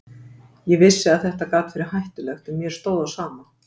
Ég vissi að þetta gat verið hættulegt en mér stóð á sama.